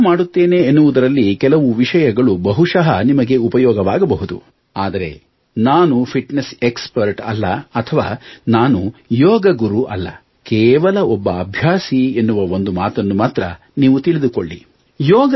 ನಾನೇನು ಮಾಡುತ್ತೇನೆ ಎನ್ನುವುದರಲ್ಲಿ ಕೆಲವು ವಿಷಯಗಳು ಬಹುಶಃ ನಿಮಗೆ ಉಪಯೋಗವಾಗಬಹುದು ಆದರೆ ನಾನು ಫಿಟ್ನೆಸ್ ಎಕ್ಸ್ಪರ್ಟ್ ಅಲ್ಲ ಅಥವಾ ನಾನು ಯೋಗ ಗುರು ಅಲ್ಲ ಕೇವಲ ಒಬ್ಬ ಅಭ್ಯಾಸಿ ಎನ್ನುವ ಒಂದು ಮಾತನ್ನು ಮಾತ್ರ ನೀವು ತಿಳಿದುಕೊಳ್ಳಿ